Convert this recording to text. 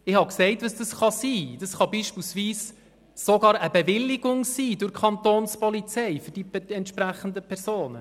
Ich habe gesagt, was das sein kann, nämlich beispielsweise sogar eine Bewilligung durch die Kantonspolizei für die entsprechenden Personen.